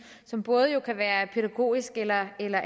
som både kan være af pædagogisk eller eller